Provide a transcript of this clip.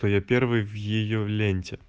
то я первый в её ленте